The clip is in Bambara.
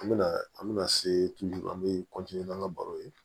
An bɛna an bɛna se an be n'an ka baro ye